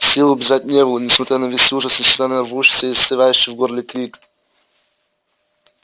сил убежать не было несмотря на весь ужас несмотря на рвущийся и застревающий в горле крик